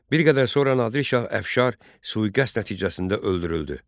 Bir qədər sonra Nadir Şah Əfşar sui-qəsd nəticəsində öldürüldü.